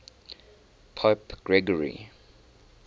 pope gregory